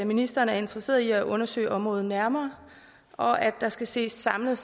ministeren er interesseret i at undersøge området nærmere og at der skal ses samlet